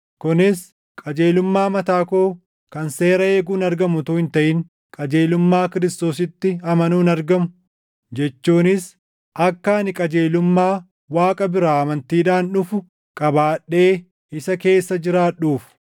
kunis qajeelummaa mataa koo kan seera eeguun argamu utuu hin taʼin qajeelummaa Kiristoositti amanuun argamu jechuunis akka ani qajeelummaa Waaqa biraa amantiidhaan dhufu qabaadhee isa keessa jiraadhuuf.